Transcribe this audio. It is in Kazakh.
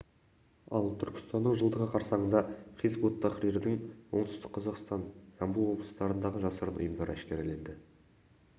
ал түркістанның жылдығы қарсаңында хизб-ут-тахрирдің оңтүстік қазақстан жамбыл облыстарындағы жасырын ұйымдары әшкереленді